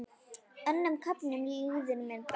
Önnum köfnum líður mér best.